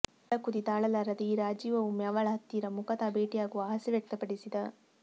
ಒಳಕುದಿ ತಾಳಲಾರದೇ ಈ ರಾಜೀವ ಒಮ್ಮೆ ಅವಳ ಹತ್ತಿರ ಮುಖತಃ ಭೇಟಿಯಾಗುವ ಆಸೆ ವ್ಯಕ್ತಪಡಿಸಿದ